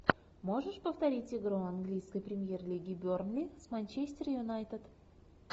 можешь повторить игру английской премьер лиги бернли с манчестер юнайтед